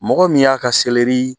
Mɔgɔ min y'a ka